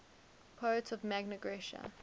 poets of magna graecia